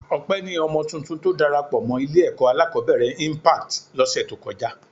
Ọpẹ ni ọmọ tuntun tó darapọ̀ mọ́ Ilé-ẹ̀kọ́ alákọ̀ọ́bẹ̀rẹ̀ Impact lọ́sẹ̀ tó kọjá